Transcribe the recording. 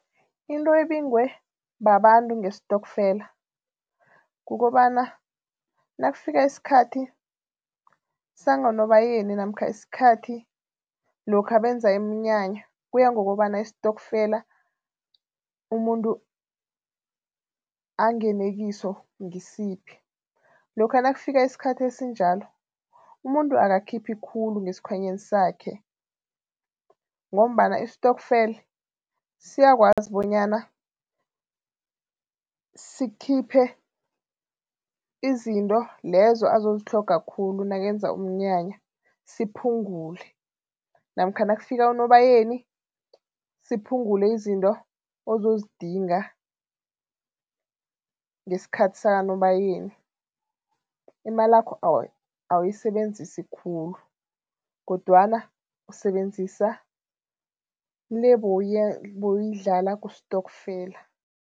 Into ebingwe babantu ngestokfela kukobana nakufika isikhathi sami ngoNobayeni namkha isikhathi lokha benza iminyanya, kuya ngokobana istokfela umuntu angene kiso ngisiphi, lokha nakufika isikhathi esinjalo, umuntu akakhiphi khulu ngesikhwanyeni sakhe ngombana i-stokvel siyakwazi bonyana sikhiphe izinto lezo azozitlhoga khulu nakenza umnyanya, siphungule namkha nakufika uNobayeni siphungule izinto ozozidinga ngesikhathi sakaNobayeni. Imalakho awuyisebenzisi khulu kodwana usebenzisa le bowuyidlala kustokfela.